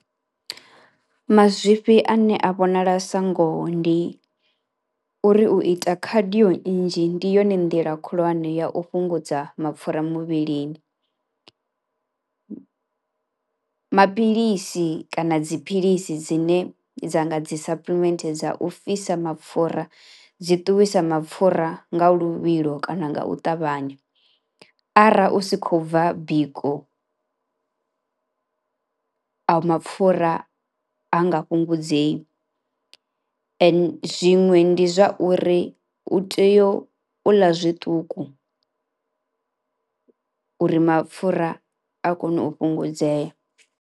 Mazwifhi ane a vhonala sa ngoho ndi uri u ita khadio nnzhi ndi yone nḓila khulwane ya u fhungudza mapfhura muvhilini. Maphilisi kana dziphilisi dzine dza nga dzi suppliment dza u fhisa mapfhura, dzi ṱuwisa mapfura nga luvhilo kana nga u ṱavhanya ara u si kho bva biko ayo mapfhura ha nga fhungudzee ende zwiṅwe ndi zwa uri u tea u ḽa zwiṱuku uri mapfhura a kone u fhungudzea.